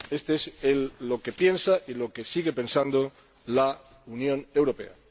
Esto es lo que piensa y lo que sigue pensando la Unión Europea.